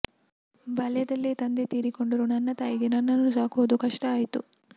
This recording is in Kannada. ಬಾಲ್ಯದಲ್ಲೆ ತಂದೆ ತೀರಿಕೊಂಡರು ನನ್ನ ತಾಯಿಗೆ ನನ್ನನ್ನು ಸಾಕೊದು ಕಷ್ಟ ಆಯ್ತು